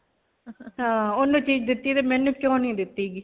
ਓਨੂੰ ਚੀਜ ਦਿੱਤੀ ਤੇ ਮੈਨੂੰ ਕਿਉਂ ਨਹੀਂ ਦਿੱਤੀ .